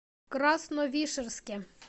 красновишерске